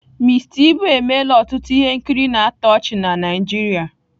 Mister Ibu emela ọtụtụ ihe nkiri na-atọ ọchị na Naịjirịa.